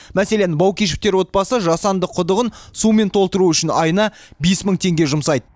мәселен баукешевтер отбасы жасанды құдығын сумен толтыру үшін айына бес мың теңге жұмсайды